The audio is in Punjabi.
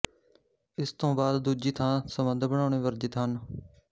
ਇੱਕ ਤੋਂ ਬਾਅਦ ਦੂਜੀ ਥਾਂ ਸੰਬੰਧ ਬਣਾਉਣੇ ਵਰਜਿਤ ਹਨ